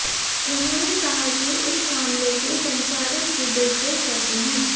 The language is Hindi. उन्होंने कहा कि इस मामले के संचालन की देखरेख करते हैं